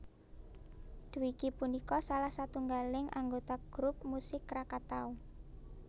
Dwiki punika salah satunggaling anggota grup musik Krakatau